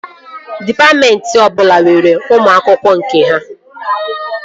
Dịpatmentị ọbụla nwere ụmụ akwụkwọ nke ha